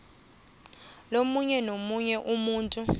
lomunye nomunye umuntu